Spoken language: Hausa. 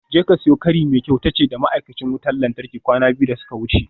Jeka siyo kari mai kyau tace da ma'aikacin wutar lantarki kwana biyu da suka wuce.